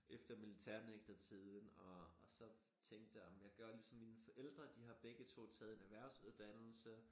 Efter militærnægtertiden og og så tænkte jeg ej men jeg gør ligesom mine forældre de har begge to taget en erhversuddannelse